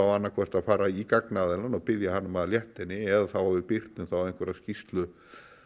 annað hvort að fara í gagnaðilann og biðja um hann um að létta henni eða þá að við birtum þá einhverja skýrslu